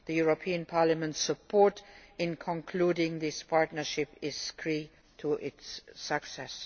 The European Parliament's support in concluding this partnership is key to its success.